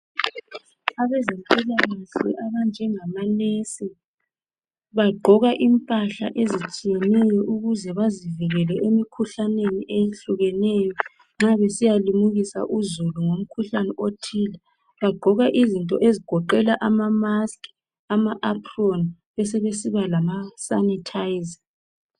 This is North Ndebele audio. abezempilakahle abanjengama nurse bagqoka impahla ezitshiyeneyo ukuze bazivikele emikhuhlaneni eyehlukeneyo nxa besiyalimukisa uzulu ngomkhuhlane othile bagqokamizinto ezigoqela ama mask ama apron besebesiba lama sanitizer